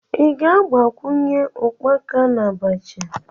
Ị ga-agbakwunye ukpaka na Abacha?